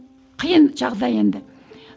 қиын жағдай енді